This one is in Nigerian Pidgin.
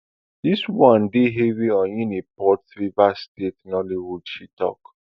dis one heavy on uniport rivers state nollywood she tok